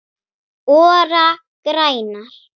ORA grænar